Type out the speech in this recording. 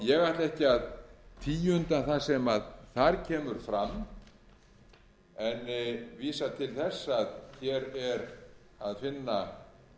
ég ætla ekki að tíunda það sem þar kemur fram en vísa til þess að hér er að finna